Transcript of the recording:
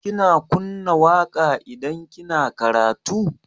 Kina kunna waƙa idan kina karatu?